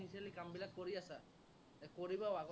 কামবিলাক কৰি আছা, কৰিবা